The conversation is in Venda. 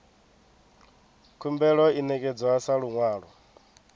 khumbelo i ṋekedzwa sa luṅwalo